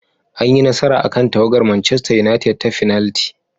An yi nasara akan tawagar Manchester united ta fenalti.